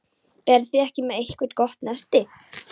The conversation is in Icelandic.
Eruð þið ekki með eitthvert gott nesti?